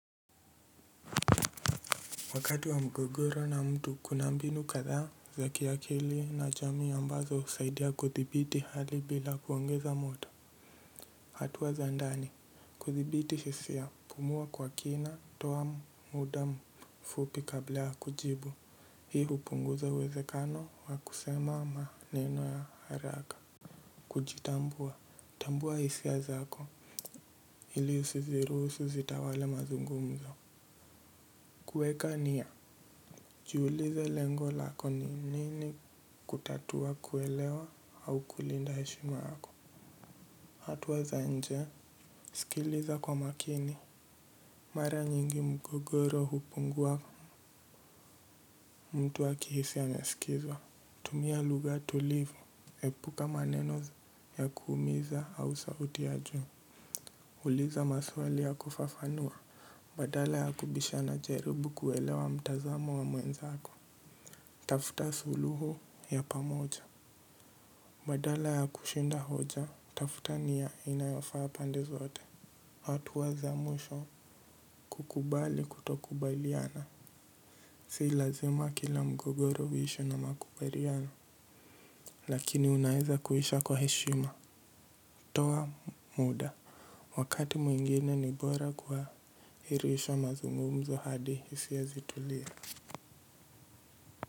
Wakati wa mgogoro na mtu kuna mbinu kadhaa, za kiakili na chami ambazo usaidia kuthibiti hali bila kuongeza moto. Hatua za ndani, kuthibiti hisia pumua kwa kina toa muda mfupi kablaa kujibu, hii hupunguza uwezekano wa kusema maneno ya haraka. Kujitambua, tambua hisia zako, ili usiziruhusu zitawale mazungumzo. Kueka nia. Jiulize lengo lako ni nini kutatua kuelewa au kulinda heshima yako hatuwa za nje. Sikiliza kwa makini. Mara nyingi mgogoro hupungua. Mtu akihisi amesikizwa. Tumia lugha tulivu. Epuka maneno ya kuumiza au sauti ya juu. Uliza maswali ya kufafanua. Badala ya kubishana jaribu kuelewa mtazamo wa mwenzako. Tafuta suluhu ya pamoja. Badala ya kushinda hoja, tafuta niya inayofaa pande zote hatua za mwisho kukubali kutokubaliana. Si lazima kila mgogoro uishe na makubaliano. Lakini unaeza kuisha kwa heshima. Toa muda. Wakati mwingine ni bora kuwahirisha mazungumzo hadi isia zitulie.